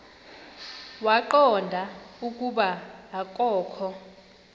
waqonda ukuba akokho